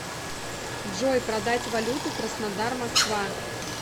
джой продать валюту краснодар москва